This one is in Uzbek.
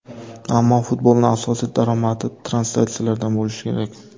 Ammo futbolning asosiy daromadi translyatsiyalardan bo‘lishi kerak.